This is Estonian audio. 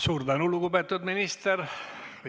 Suur tänu, lugupeetud minister!